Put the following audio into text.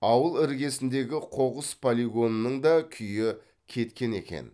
ауыл іргесіндегі қоқыс полигонының да күйі кеткен екен